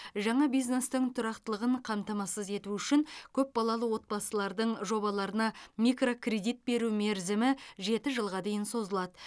жаңа бизнестің тұрақтылығын қамтамасыз ету үшін көпбалалы отбасылардың жобаларына микрокредит беру мерзімі жеті жылға дейін созылады